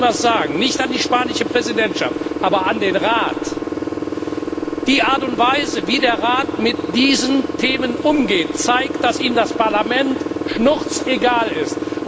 Und jetzt will ich Ihnen etwas sagen, nicht der spanischen Präsidentschaft, aber dem Rat Die Art und Weise, wie der Rat mit diesen Themen umgeht, zeigt, dass ihm das Parlament schnurzpiepegal ist.